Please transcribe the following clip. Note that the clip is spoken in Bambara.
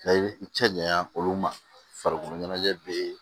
i cɛ janɲa olu ma farikolo ɲɛnajɛ bɛ yen